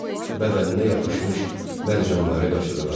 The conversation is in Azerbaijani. Bədəninə yapışmış mərcanları qaşıdılar.